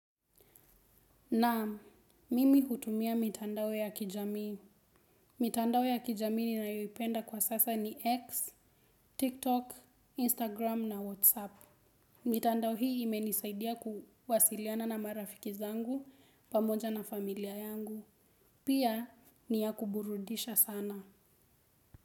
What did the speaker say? Naam, mimi hutumia mitandao ya kijamii. Mitandao ya kijamii ninayoipenda kwa sasa ni X, TikTok, Instagram na WhatsApp. Mitandao hii imenisaidia kuwasiliana na marafiki zangu pamoja na familia yangu. Pia ni ya kuburudisha sana.